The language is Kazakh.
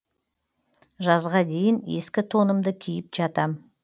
жазға дейін ескі тонымды киіп жатам